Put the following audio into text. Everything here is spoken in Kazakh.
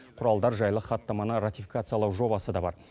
құралдар жайлы хаттаманы ратификациялау жобасы да бар